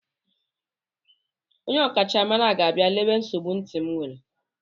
Onye ọkachamara ntị ga-abịa lelee nsogbu ntị m were.